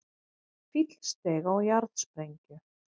Fíll steig á jarðsprengju